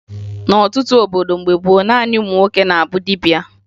N'ọtụtụ obodo mgbe gboo, naanị ụmụ nwoke na-abụ dibia